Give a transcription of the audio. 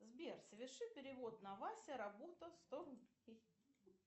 сбер соверши перевод на вася работа сто рублей